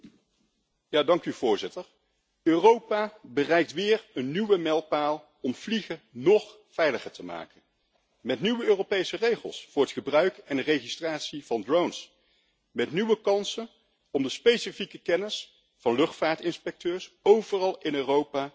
Voorzitter, Europa bereikt weer een nieuwe mijlpaal om vliegen nog veiliger te maken met nieuwe Europese regels voor het gebruik en de registratie van drones, met nieuwe kansen om de specifieke kennis van luchtvaartinspecteurs overal in Europa in te zetten,